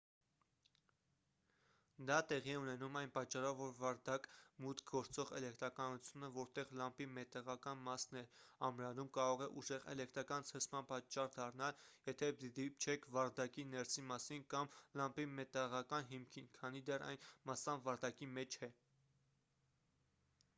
դա տեղի է ունենում այն պատճառով որ վարդակ մուտք գործող էլեկտրականությունը որտեղ լամպի մետաղական մասն է ամրանում կարող է ուժեղ էլեկտրական ցնցման պատճառ դառնալ եթե դիպչեք վարդակի ներսի մասին կամ լամպի մետաղական հիմքին քանի դեռ այն մասամբ վարդակի մեջ է